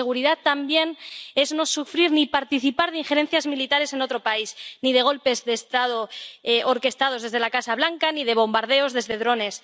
Pero seguridad también es no sufrir ni participar en injerencias militares en otro país, ni en golpes de Estado orquestados desde la Casa Blanca, ni en bombardeos desde drones.